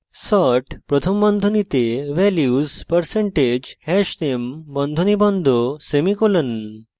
sort প্রথম বন্ধনীতে values % hashname বন্ধনী বন্ধ semicolon